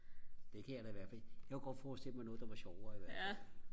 det kan jeg da i hvert fald jeg kunne godt forestille mig noget der var sjovere i hvert fald